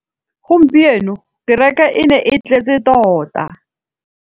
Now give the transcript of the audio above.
Gompieno kêrêkê e ne e tletse tota.